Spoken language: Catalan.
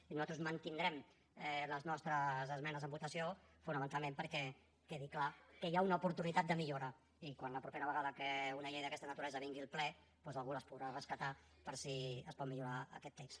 i nosaltres mantindrem les nostres esmenes en votació fonamentalment perquè quedi clar que hi ha una oportunitat de millora i la propera vegada que una llei d’aquesta naturalesa vingui al ple doncs algú les podrà rescatar per si es pot millorar aquest text